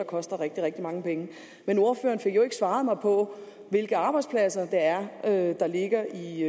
koster rigtig rigtig mange penge men ordføreren fik ikke svaret mig på hvilke arbejdspladser det er der ligger i